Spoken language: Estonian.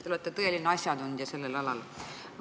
Te olete tõeline asjatundja sellel alal.